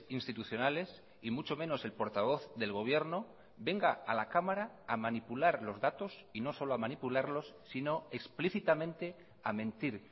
institucionales y mucho menos el portavoz del gobierno venga a la cámara a manipular los datos y no solo a manipularlos sino explícitamente a mentir